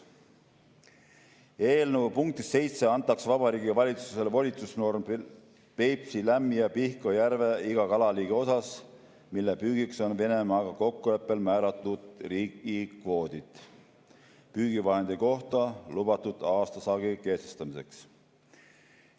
Eelnõu punktis 7 antakse Vabariigi Valitsusele volitusnorm Peipsi, Lämmi‑ ja Pihkva järve iga kalaliigi osas, mille püügiks on Venemaaga kokkuleppel määratud riigikvoodid, püügivahendi kohta lubatud aastasaagi kehtestamiseks.